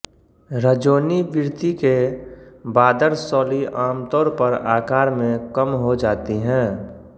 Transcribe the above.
रजोनिवृत्ति के बादरसौली आमतौर पर आकार में कम हो जाती हैं